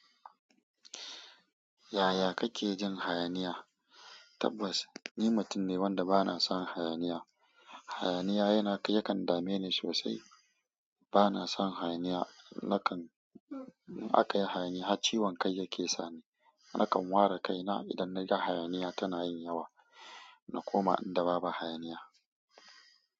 Yaya kake jin hayaniya? Tabbas, ni mutum ne wanda ba na son hayaniya. Hayaniya yana yakan dame ni sosai. Ba na son hayaniya. Nakan in aka yi hayaniya har ciwon kai yake sani. Nakan ware kaina idan na ga hayaniya tana yin yawa, na koma inda babu hayaniya.